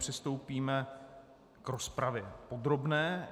Přistoupíme k rozpravě podrobné.